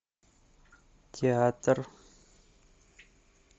театр